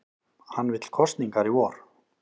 Hann vill kosningar í vor